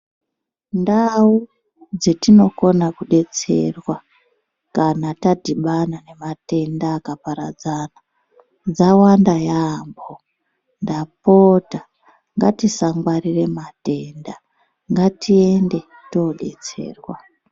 Ndau dzatinokona kudetserwa kana tadhibana nematenda akaparadzana dzawanda yampho ndapota ngatisangwarira matenda ngatiende todetserwa.